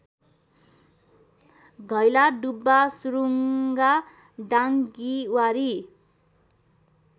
Ghailadubba Surunga Dangibari